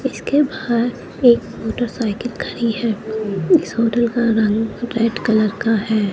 इसके बाहर एक मोटरसाइकिल खड़ी है इस होटल का रंग सफेद कलर का है।